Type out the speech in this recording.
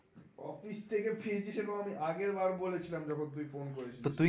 office থেকে ফিরছি সে তো আমি আগের বার বলেছিলাম যখন তুই ফোন করেছিলিস